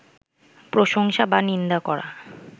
প্রশংসা বা নিন্দা করা